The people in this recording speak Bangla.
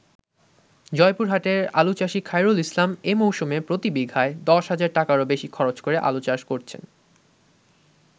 জয়পুরহাটের আলুচাষী খায়রুল ইসলাম এ মৌসুমে প্রতি বিঘায় ১০,০০০ টাকারও বেশী খরচ করে আলুচাষ করেছেন।